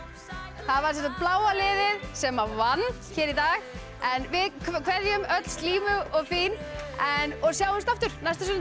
það var bláa liðið sem vann hér í dag en við kveðjum öll og fín og sjáumst aftur næsta sunnudag